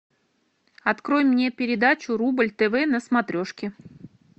открой мне передачу рубль тв на смотрешке